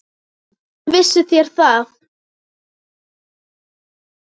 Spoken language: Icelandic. Hvernig vissuð þér það?